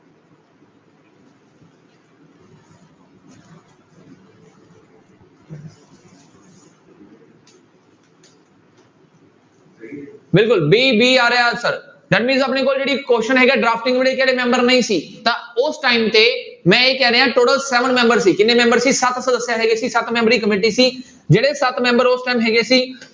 ਬਿਲਕੁਲ b, b ਆ ਰਿਹਾ answer that means ਆਪਣੇ ਕੋਲ ਜਿਹੜੀ question ਹੈਗਾ drafting ਕਿਹੜੇ ਮੈਂਬਰ ਨਹੀਂ ਸੀ ਤਾਂ ਉਸ time ਤੇ ਮੈਂ ਇਹ ਕਹਿ ਰਿਹਾਂ total seven ਮੈਂਬਰ ਸੀ ਕਿੰਨੇ ਮੈਂਬਰ ਸੀ ਹੈਗੇ ਸੀ ਸੱਤ ਮੈਂਬਰੀ ਕਮੇਟੀ ਸੀ ਜਿਹੜੇ ਸੱਤ ਮੈਂਬਰ ਉਸ time ਹੈਗੇ ਸੀ